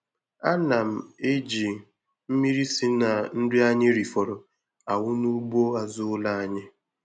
A na m eji mmiri si na nri anyị rifọrọ awụ n'ugbo azụ ụlọ anyị.